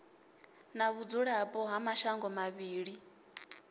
na vhudzulapo ha mashango mavhili